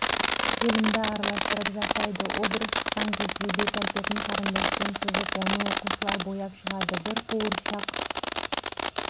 желімді араластырып жасайды образ шыққан кезде бет-әлпетін қарындашпен сызып оны оқушылар бояп шығады бір қуыршақ